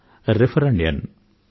refer చేయండి ఆర్జించండి